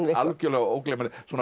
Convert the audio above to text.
algjörlega ógleymanleg svona